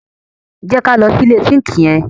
Jẹ ká lọ sí ilẹ̀ sínkì yẹn.